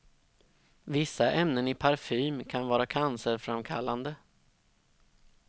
Vissa ämnen i parfym kan vara cancerframkallande.